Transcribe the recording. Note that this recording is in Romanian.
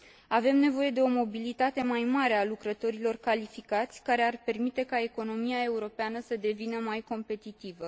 Avem nevoie de o mobilitate mai mare a lucrătorilor calificați, care ar permite ca economia europeană să devină mai competitivă.